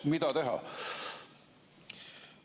Mida teha?